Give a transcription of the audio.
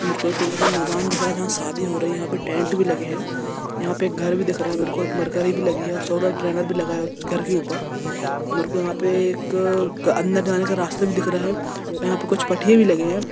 बिलकुल यह मैदान जहा सादी हो रही है यह पर टेट भी लगे है यह पर घर दिख रहा है मुज को कोय मरकरी भी लगी हैऔर सोलर पेनर भी लगा है उअपर यहा पर एक अंदर जाने का रास्ता भी दिख रहा है यहा पर कुछ पाठी भी लगी है।